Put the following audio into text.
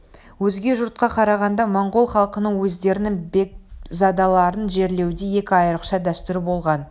өзге жұртқа қарағанда монғол халқының өздерінің бекзадаларын жерлеуде екі айрықша дәстүрі болған